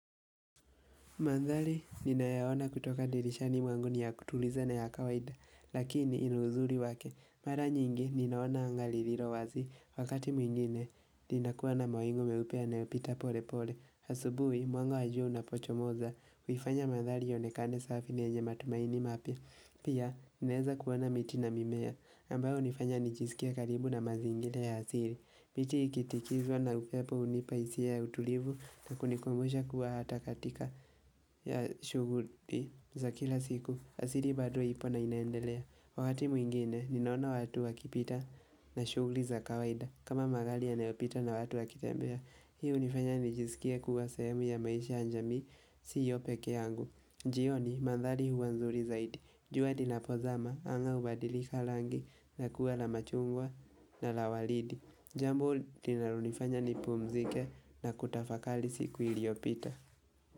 Mandhari, nina yaona kutoka dirishani mwangu ni ya kutuliza na ya kawaida, lakini ina uzuri wake. Mara nyingi, ninaona angali liro wazi, wakati mwingine, nina kuwa na mawingu meupe yanayopita pole pole. Asubui, mwanga wa jua wa unapocho moza, huifanya mandhari yaonekane safi ni yenye matumaini mapya. Pia, ninaeza kuona miti na mimea, ambayo unifanya nijisikie karibu na mazingira ya hasiri. Miti ikitikizwa na upepo unipaisia ya utulivu na kunikwemusha kuwa hatakatika ya shuguli za kila siku. Asiri bado ipo na inaendelea. Wakati mwingine, ninaona watu wakipita na shuguli za kawaida. Kama magali yanayopita na watu wakitembea. Hii unifanya nijisikie kuwa sehemu ya maisha ya jamii si yo peke yangu. Jioni, mandhali huwa nzuri zaidi. Jua linapozama, anga ubadilika langi na kuwa la machungwa na la walidi. Jambo linalonifanya nipu mzike na kutafakali siku iliopita.